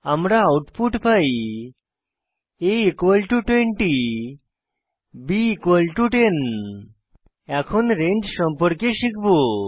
আমরা আউটপুট পাই a20 b10 এখন রেঞ্জ সম্পর্কে শিখব